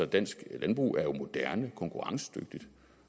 dansk landbrug er moderne og konkurrencedygtigt